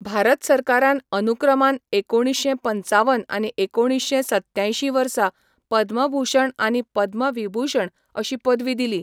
भारत सरकारान अनुक्रमान एकुणीश्शें पंचावन आनी एकुणीश्शें सत्त्यांयशीं वर्सा पद्मभूषण आनी पद्मविभूषण अशीं पदवी दिली.